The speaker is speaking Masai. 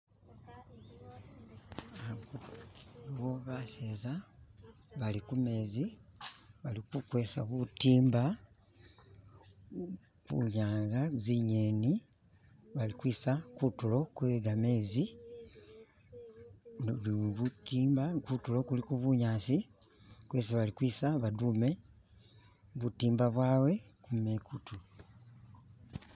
eliwo baseza balikumezi bali kukwesa butimba hunyanza zinyeni balikwisa kutulo kwegamezi nibutimba kutulo kuliko bunyasi kwesi bakwisa badume butimba bwawe kumikutu